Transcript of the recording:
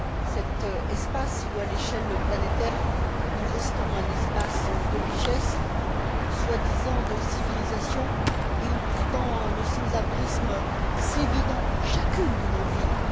Cet espace qui, à l'échelle planétaire, reste un espace de richesse, soi disant de civilisation et où, pourtant, le sans abrisme sévit dans chacune de nos villes.